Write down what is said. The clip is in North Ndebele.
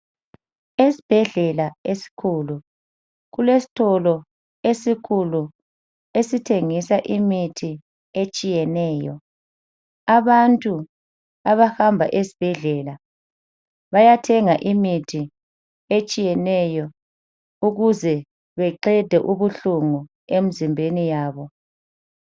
Esibhedlela esikhulu kulesitolo esikhulu esithengisa imithi etshiyeneyo. Abantu abahamba esibhedlela bayethenga imithi etshiyeneyo ukuze beqede ubuhlungu emzimbeni yabo.